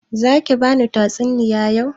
Za ki bani tatsuniya yau?